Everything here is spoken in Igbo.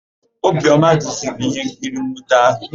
Obiọma duziri íhénkiri nnwute áhụ̀.